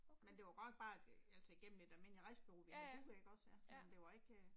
Men det godt nok bare et altså igennem et almindeligt rejsebureau vi havde booket ikke også ja, men det var ikke